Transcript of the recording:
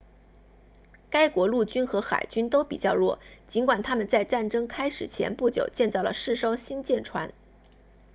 该国陆军和海军都比较弱尽管他们在战争开始前不久建造了四艘新舰船